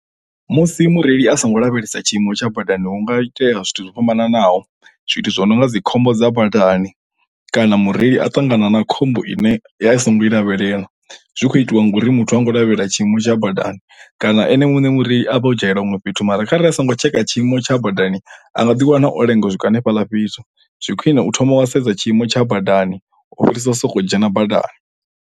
Musi mureili a songo lavhelesa tshiimo tsha badani hunga itea zwithu zwo fhambananaho zwithu zwo no nga dzi khombo dza badani kana mureili a ṱangana na khombo ine ya i songo i lavhelela zwi kho itiwa ngauri muthu ha ngo lavhelela tshiimo tsha badani kana ene muṋe mureili a vha o dzhaela huṅwe fhethu mara kharali a songo tsheka tshiimo tsha badani a nga ḓi wana o lenga u swika hanefhaḽa fhethu zwi khwiṋe u thoma wa sedza tshiimo tsha badani u fhirisa u soko dzhena badani.